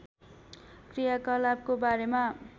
क्रियाकलापको बारेमा